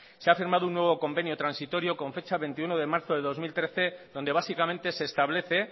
se ha firmado un nuevo convenio transitorio con fecha veintiuno de marzo del dos mil trece donde básicamente se establece